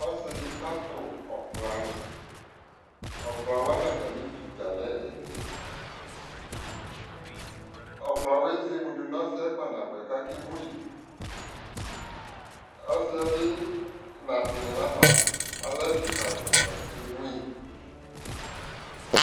ɔsii di kʋ atʋ ɔkplani, ɔkplawa nʋ atami viʋ dza lɛ ɛlɛdi, ɔkpla ɛzɛmʋ dʋnʋɔsiiɛ kpa nabʋɛ kʋ akɛ mʋyi, ɔsiiɛ bi na tini nʋ aɣa, alɛ ɛdi kai ta akɛ mʋyi